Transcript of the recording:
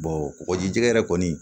kɔgɔji jɛ yɛrɛ kɔni